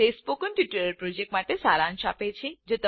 તે spoken tutorial project માટે સારાંશ આપે છે